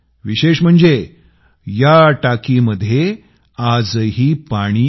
विशेष म्हणजे या टाकीमध्ये आजही पाणी आहे